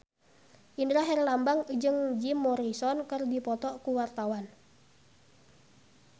Indra Herlambang jeung Jim Morrison keur dipoto ku wartawan